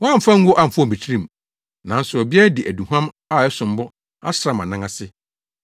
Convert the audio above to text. Woamfa ngo amfɔw me tirim; nanso ɔbea yi de aduhuam a ɛsom bo asra mʼanan ase.